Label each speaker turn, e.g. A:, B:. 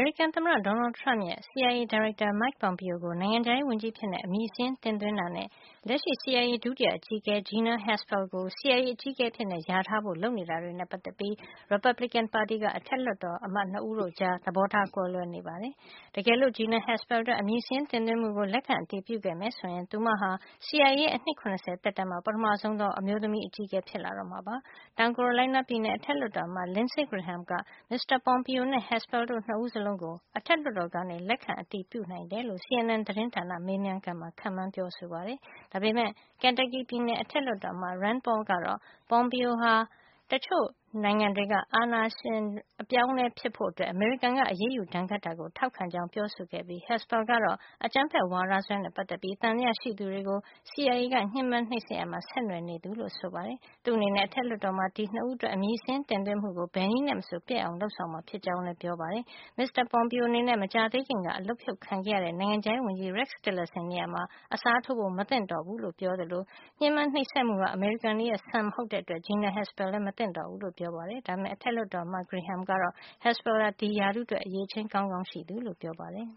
A: ရိကန်သမ္မတ Donald Trump ရဲ့ CIA ဒါရိုက်တာ Mike Pompeo ကို နိုင်ငံခြားရေးဝန်ကြီးအဖြစ် အမည်စာရင်း တင်သွင်းတာနဲ့ လက်ရှိ CIA ဒုတိယအကြီးအကဲ Gina Haspel ကို CIA အကြီးအကဲအဖြစ် ခန့်အပ်ဖို့ လျာထားတာတွေနဲ့ ပတ်သက်ပြီး ရီပတ်ဘလစ်ကင်ပါတီက အထက်လွှတ်တော်အမတ် ၂ ဦးကြား သဘောထား ကွဲလွဲနေကြပါတယ်။ တကယ်လို့ Gina Haspel အတွက် အမည်စာရင်းတင်သွင်းမှုကို လက်ခံ အတည်ပြုခဲ့မယ်ဆိုရင် သူမဟာ CIA ရဲ့ အနှစ် ၇၀ သက်တမ်းမှာ ပထမဆုံးသော အမျိုးသမီး CIA အကြီးအကဲဖြစ်လာတော့မှာပါ။ တောင်ကာရိုလိုင်းနားပြည်နယ် အထက်လွှတ်တော်အမတ် Lindsey Graham က မစ္စတာ Pompeo နဲ့ Haspel တို့ နှစ်ဦးစလုံးကို အထက်လွှတ်တော်က လက်ခံ အတည်ပြုနိုင်တယ်လို့ CNN သတင်းဌာနနဲ့ မေးမြန်းခန်းမှာ ခန့်မှန်းပြောဆိုပါတယ်။ ဒါပေမယ့် Kentucky ပြည်နယ် အထက်လွှတ်တော်အမတ် Rand Paul ကတော့ Pompeo ဟာ တချို့ပြည်ပနိုင်ငံတွေကအစိုးရတွေကို ဖြုတ်ချဖို့ အမေရိကန်က အားပေး လုပ်ဆောင်တာကို ထောက်ခံသူဖြစ်ကြောင်း ပြောဆိုခဲ့ပြီး Haspel ကတော့ အကြမ်းဖက်ဝါဒစွဲနဲ့ ပတ်သက်ပြီး သံသယရှိသူတွေကို CIA က ညှင်းပမ်းနှိပ်စက်ရာမှာ ဆက်နွယ်နေသူလို့ ဆိုပါတယ်။ သူ့အနေနဲ့ အထက်လွှတ်တော်မှာ ဒီ နှစ်ဦးအတွက် အမည်စာရင်းတင်သွင်းမှုကို ဘယ်နည်းနဲ့မဆို ပျက်အောင် လုပ်ဆောင်မှာ ဖြစ်ကြောင်းလည်း အထက်လွှတ်တော်အမတ် Paul ကပြောပါတယ်။ မစ္စတာ Pompeo အနေနဲ့ မကြာသေးခင်ကမှ အလုပ်ဖြုတ်တာ ခံခဲ့ရတဲ့ နိုင်ငံခြားရေးဝန်ကြီး Rex Tillerson ရဲ့ နေရာမှာ အစားထိုးဖို့ မသင့်တော်သူဖြစ်ကြောင်း လည်း ပြောပါတယ်။ ဒါ့အပြင် ညှင်းပမ်းနှိပ်စက်မှုဟာ အမေရိကန်တွေရဲ့ စံမဟုတ်တဲ့အတွက် Gina Haspel ကလည်း မသင့်တော်ဘူးလို့ ပြောပါတယ်။ ဒါပေမယ့် အထက်လွှတ်တော်အမတ် Graham ကတော့ Haspel ဟာ ဒီရာထူးအတွက် အရည်အချင်း ကောင်းကောင်းရှိသူလို့ ပြောပါတယ်